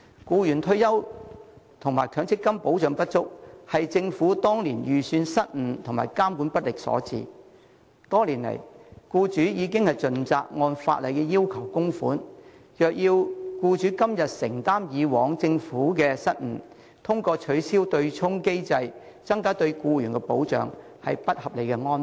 僱員退休及強積金保障不足，是政府當年預算失誤及監管不力所致，多年來，僱主已盡責按法例要求供款，若要僱主今天承擔以往政府的失誤，通過取消對沖機制來增加對僱員的保障，是不合理的安排。